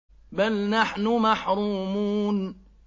بَلْ نَحْنُ مَحْرُومُونَ